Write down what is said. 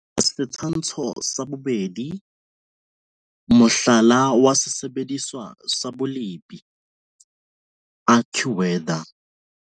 Setshwantsho sa 2. Mohlala wa sesebediswa sa bolepi, AccuWeather.